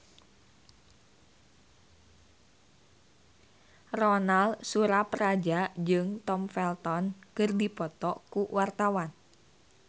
Ronal Surapradja jeung Tom Felton keur dipoto ku wartawan